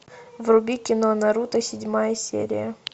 вруби кино наруто седьмая серия